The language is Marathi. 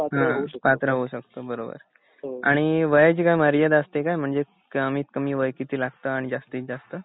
हुन पात्र होऊ शकतो बरोबर आणि वयाची काही मर्यादा असते जा म्हणजे कमीत कमी वय किती लागत आणि जास्तीत जास्त